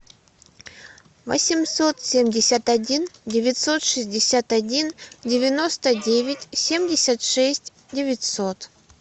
восемьсот семьдесят один девятьсот шестьдесят один девяносто девять семьдесят шесть девятьсот